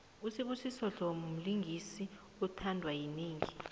usbusiso dlomo mlingisi othandwa yinengi